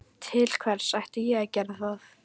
Til hvers ætti ég að gera það?